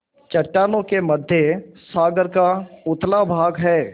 चट्टानों के मध्य सागर का उथला भाग है